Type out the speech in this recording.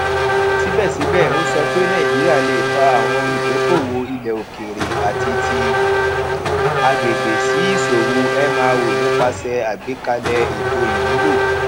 síbẹsíbẹ ó sọ pé nàìjíríà lè fa àwọn olùdókòòwò ilẹòkèèrè àti ti agbègbè sí ìṣòwò mro nípasẹ àgbékalẹ ètò ìmúlò